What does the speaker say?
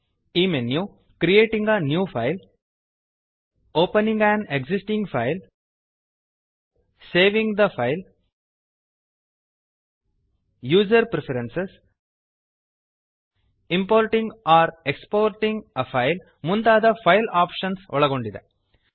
ಈ menu creating a new file opening an existing file saving the file user preferences importing or exporting a file ಮುಂತಾದ file options ಒಳಗೊಂಡಿದೆ